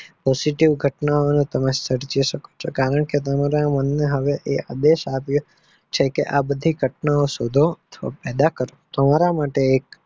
તમારા માટે positive ઘટનાઓ સર્જી શકો છો કારણ કે તમારા મન ને આદેશ આપીઓ છે આ બધી ઘટના શોધો ને પેદા કરો.